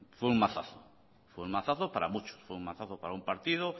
fue un mazazo para muchos fue un mazazo para un partido